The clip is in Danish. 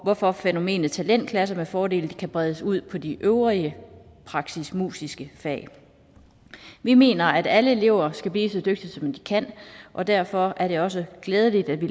hvorfor fænomenet talentklasser med fordel kan bredes ud på de øvrige praktisk musiske fag vi mener at alle elever skal blive så dygtige som de kan og derfor er det også glædeligt at vi